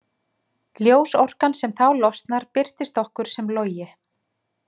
Ljósorkan sem þá losnar birtist okkur sem logi.